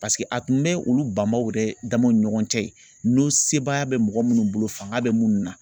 Paseke a tun bɛ olu banbaw yɛrɛ damaw ni ɲɔgɔn cɛ yen, n'o sebagaya bɛ mɔgɔ munnu bolo fanga bɛ munnu na.